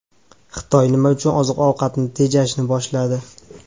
Xitoy nima uchun oziq-ovqatni tejashni boshladi?